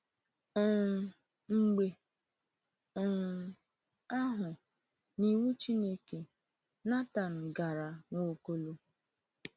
um Mgbe um ahụ, n’iwu Chineke, Nathan gara Nwaokolo.